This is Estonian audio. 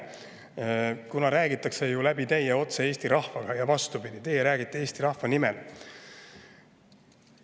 Teie kaudu ju räägitakse otse Eesti rahvaga ja vastupidi, teie räägite Eesti rahva nimel.